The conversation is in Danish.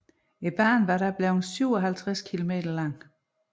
Banen var da blevet 57 km lang